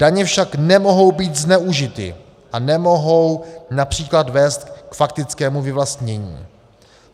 Daně však nemohou být zneužity a nemohou například vést k faktickému vyvlastnění.